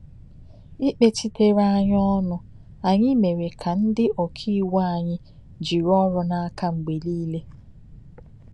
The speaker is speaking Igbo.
Ìkpechíterè anyị ònụ anyị mere ka ndị òkàìwu anyị jìrị òrụ́ n’aka mgbe nile.